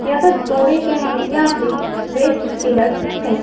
या तो तोड़े गए हैं या फिर वेस्ट पिलर्स थे।